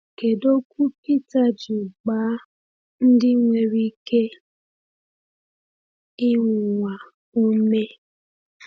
Kedu okwu Peter ji gbaa ndị nwere ike ịnwụnwa ume?